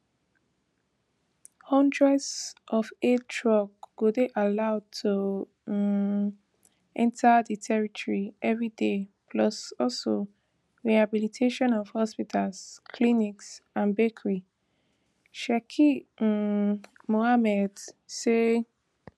hundreds of aid trucks go dey allowed to um enta di territory every day plus also rehabilitation of hospitals clinics and bakeries sheikh um mohammed say